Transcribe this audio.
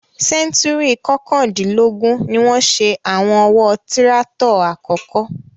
Sẹ́ńtúùrì kọkàndínlógún ni wọ́n ṣe àwọn ọ̀wọ́ tíráátọ̀ àkọ́kọ́.